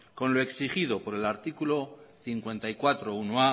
con lo exigido por el artículo cincuenta y cuatrobatgarrena